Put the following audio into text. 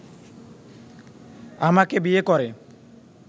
আমাকে বিয়ে করে